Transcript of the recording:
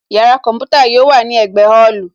Yàrá kọ̀ḿpútà yóò wà ní ẹ̀gbẹ́ ọ́ọ̀lù